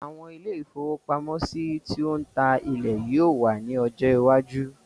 Àwọn ilé-ìfowópamọ́sí ti o ń ta ilé yó ò wà ní ọjọ́ iwájú.